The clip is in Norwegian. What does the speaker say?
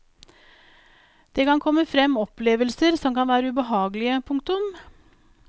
Det kan komme frem opplevelser som kan være ubehagelige. punktum